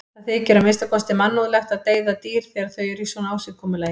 Það þykir að minnsta kosti mannúðlegt að deyða dýr þegar þau eru í svona ásigkomulagi.